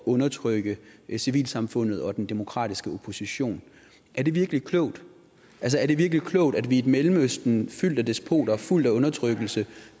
undertrykke civilsamfundet og den demokratiske opposition er det virkelig klogt altså er det virkelig klogt at vi i et mellemøsten fyldt med despoter og fuldt af undertrykkelse